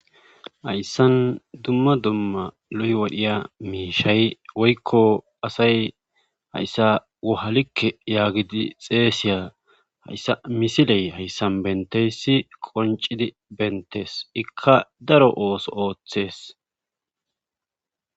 Hayssan dumma dumma loy wodhiya miishay woykko asay hayssa wohalikke yaagidi xeeysiya hayssa misiley hayssan benteyssi qoncidi bentees ikka daro ooso ooththes.